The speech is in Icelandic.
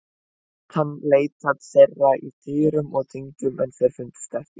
Lét hann leita þeirra í dyrum og dyngjum en þeir fundust ekki.